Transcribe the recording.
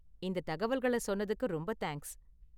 இந்த தகவல்கள சொன்னத்துக்கு ரொம்ப தேங்க்ஸ்.